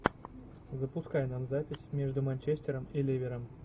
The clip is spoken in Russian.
запускай нам запись между манчестером и ливером